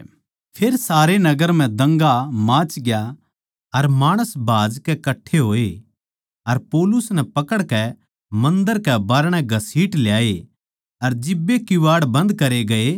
फेर सारे नगर म्ह दंगा माचग्या अर माणस भाजकै कट्ठे होए अर पौलुस नै पकड़कै मन्दर कै बाहरणै घसीट ल्याए अर जिब्बे किवाड़ बन्द करे गये